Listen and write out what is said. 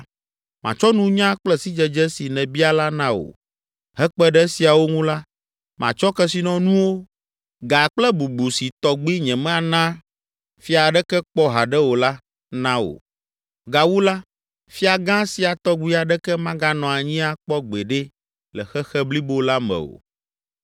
matsɔ nunya kple sidzedze si nèbia la na wò! Hekpe ɖe esiawo ŋu la, matsɔ kesinɔnuwo, ga kple bubu si tɔgbi nyemena fia aɖeke kpɔ haɖe o la, na wò! Gawu la, fia gã sia tɔgbi aɖeke maganɔ anyi akpɔ gbeɖe le xexe blibo la me o!”